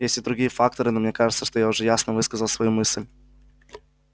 есть и другие факторы но мне кажется что я уже ясно высказал свою мысль